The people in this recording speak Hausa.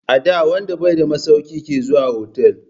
Ada wanda bai da masauki ke zuwa otal.